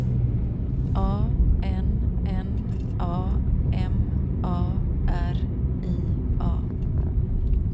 A N N A M A R I A